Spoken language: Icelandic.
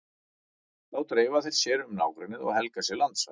Þá dreifa þeir sér um nágrennið og helga sér landsvæði.